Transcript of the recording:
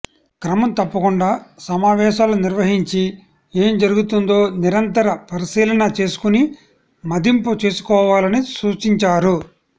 క్రమం తప్పకుండా సమావేశాలు నిర్వహించి ఏం జరుగుతుందో నిరంతర పరిశీలన చేసుకుని మదింపు చేసుకోవాలని సూచించారు